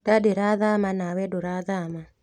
Nda ndĩrathama nawe ndũrathama